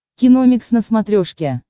киномикс на смотрешке